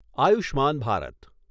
Ayushman Bharat